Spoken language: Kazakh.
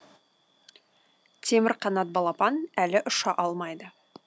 темірқанат балапан әлі ұша алмайды